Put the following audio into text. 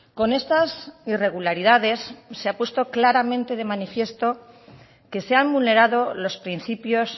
con estas irregularidades se ha puesto claramente de manifiesto que se han vulnerado los principios